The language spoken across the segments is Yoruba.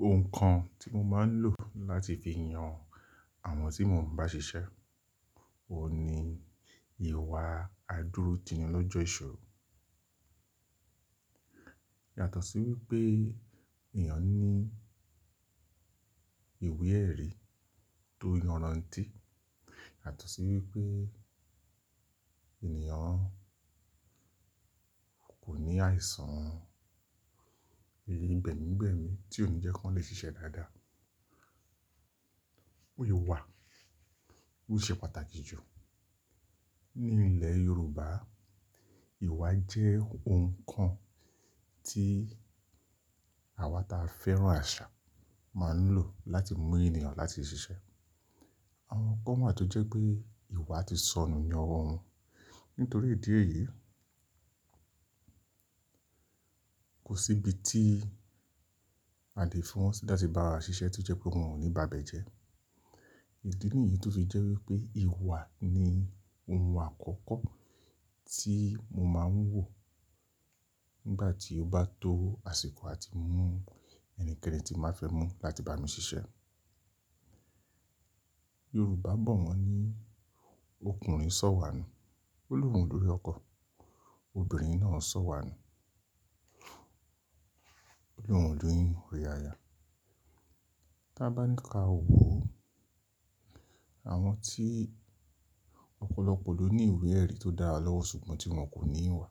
Ohun kan tí mo máa ń lò láti fi yan àwọn tí mò ń bá ṣiṣẹ́, òun ni ìwà àdúrótini lọ́jọ́ ìṣòro. Yàtọ̀ sí wípé ènìyàn ní ìwé ẹ̀rí tó yanranti, yàtọ̀ sí wípé ènìyàn kò ní àìsàn ẹ̀yí gbẹ̀mígbẹ̀mí tí ò ní jẹ́ kí wọ́n lè ṣiṣẹ́ dáadáa. Ìwà, ó ṣe pàtàkì jù. Ní ilẹ̀ Yorùbá, ìwà jẹ́ ohun kan tí àwa ta fẹ́ràn àṣà máa ń lò láti mú ènìyàn láti ṣiṣẹ́. Àwọn kan wà tó jẹ́ pé ìwà ti sọnù ní ọwọ́ wọn. Nítorí ìdí èyí, kò sí ibi tí a lè fi wọn sí láti bá wa ṣiṣẹ́ tí o jẹ́ pé wọn ò ní ba ibẹ̀ jẹ́. Ìdí nìyí tó fi jẹ́ wípé ìwà ni ohun àkọ́kọ́ tí mo máa ń wò nígbà tí ó bá tó àsìkò láti mú ẹnikẹ́ni tí màá fẹ́ mú láti bá mi ṣiṣẹ́. Yorùbá bọ̀ wọ́n ní okùnrin sọ̀wà nu, Olúro lórí ọkọ̀, obìnrin náà sọ̀wà nu, Oloun lórí orí aya. Tí a bá ní ká wó o, àwọn tí ọ̀pọ̀lọpọ̀ ló ní ìwú ẹ̀rí tó dára lọ́wọ́ ṣùgbọ́n tí wọ́n kò ní ìwà,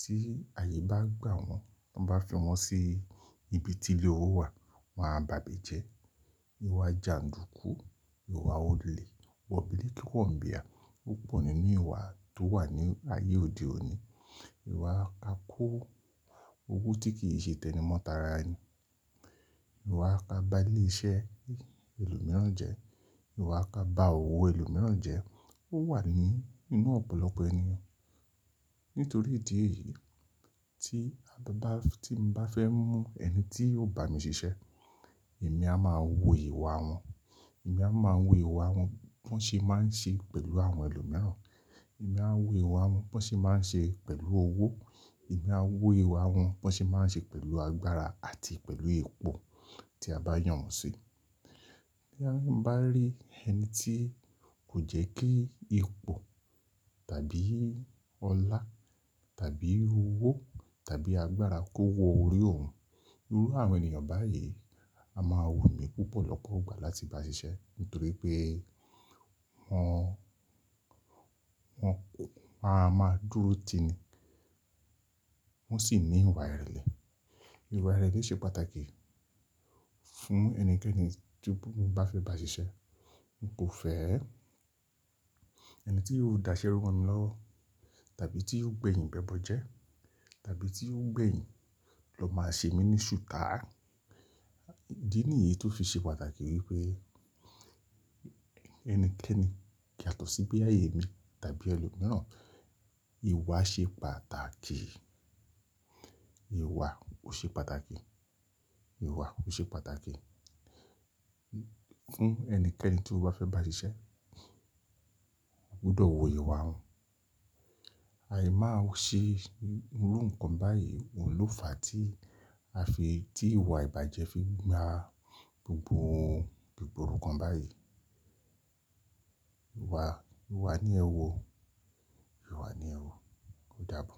tí ààyè bá gbà wọ́n, ti wọ́n bá fi wọ́n sí ibi tí ilé owó wà, wọn á ba bẹ̀jẹ́. Ìwà jàndùkú, ìwà olè, wọ̀bìlì kí wọ́n bí à, ó pọ̀ nínú ìwà tó wà ní ààyè òde òní. Ìwà ako, owó tí kì í ṣe tẹni mọ́ tara ni. Ìwà ka bá ilé iṣẹ́ ẹlòmíràn jẹ́, ìwà ka bá òwò ẹlòmíràn jẹ́, ó wà ní inú ọ̀pọ̀lọpọ̀ ènìyàn. Nítorí ìdí èyí tí a bá ti n bá fẹ́ mú ẹni tí yóò bá mi ṣiṣẹ́, èmi a máa wo ìwà wọn. Èmi a máa wo ìwà wọn bọ́n ṣe máa ń ṣe pẹ̀lú àwọn ẹlòmíràn. Èmi a máa wo ìwà wọn bọ́n ṣe máa ń ṣe pẹ̀lú owó. Èmi a máa wo ìwà wọn bọ́n ṣe máa ń ṣe pẹ̀lú agbára àti pẹ̀lú ipò tí a bá yàn wọ́n sí. Bóyá n bá rí ẹni tí kò jẹ́ kí ipò tàbí ọlá tàbí owó tàbí agbára kó wọ orí òun, irú àwọn ènìyàn báyìí a máa wù mí púpọ̀lọpọ̀ gbà láti bá ṣiṣẹ́ nítorí pé wọ́n, wọ́n máa, máa dúró tini, wọ́n sì ní ìwà ìrẹ̀lẹ̀. Ìwà ìrẹ̀lẹ̀ ṣe pàtàkì fún ẹnikẹ́ni tí mo bá fẹ́ bá ṣiṣẹ́. N kò fẹ́ ẹni tí yóò da iṣẹ́ rún wa ni lọ́wọ́ tàbí tí yóò gbẹ̀yìn bẹbọ jẹ tàbí tí yóò gbẹ̀yìn lọ máa ṣe mí ní ṣùkà. Ìdí nìyí tó fi ṣe pàtàkì wípé ẹnikẹ́ni, yàtọ̀ sí pé ààyè mi tàbí ẹlòmíràn, ìwà ṣe pàtàkì. Ìwà o ṣe pàtàkì. Ìwà o ṣe pàtàkì fún ẹnikẹ́ni tí ó bá fẹ́ bá ṣiṣẹ́. O gbúdọ̀ wo ìwà wọn. Aì máa ṣe irú nǹkan báyìí, òun ló fàá tí a fi, tí ìwà ìbàjẹ́ fi gba gbogbo ohun, ìgboro kan báyìí. Ìwà, ìwà ni ẹ wò, ìwà ni ẹ wò. Ó dàbọ̀.